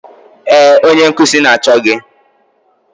Ee, onye nkuzi na-achọ gị